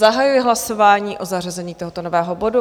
Zahajuji hlasování o zařazení tohoto nového bodu.